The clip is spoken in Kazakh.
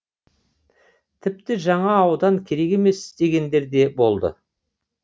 тіпті жаңа аудан керек емес дегендер де болды